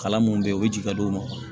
Kalan mun be yen u bi jigin ka d'u ma